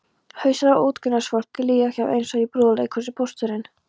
Hausar á utangarðsfólki líða hjá eins og í brúðuleikhúsi: Pósturinn